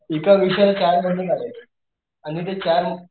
एक विषयाला चार महिने लागायचे आणि ते चार,